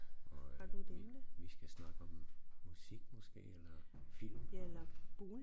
Og øh vi vi skal snakke om musik måske eller film